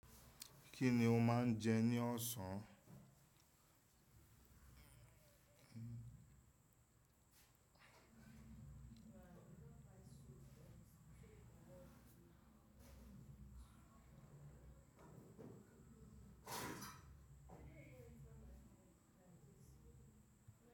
Kí ni o máa ń jẹ ní ọ̀sán?